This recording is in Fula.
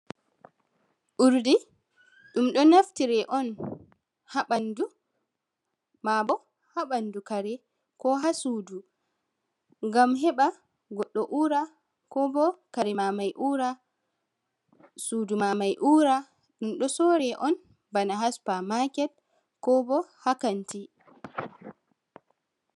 Urdi, ɗum ɗo naftire on ha ɓandu, maa bo ha ɓandu kare, ko ha sudu, ngam heɓa goɗɗo uura, ko bo kare ma mai uura, sudu ma mai uura. Ɗum ɗo sore on bana ha supa maket, ko bo ha kanti.